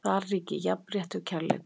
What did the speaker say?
Þar ríki jafnrétti og kærleikur.